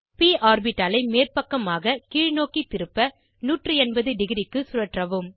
ப் ஆர்பிட்டாலை மேற்பக்கமாக கீழ்நோக்கி திருப்ப 180 டிக்ரி க்கு சுழற்றவும்